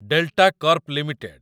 delta corp limited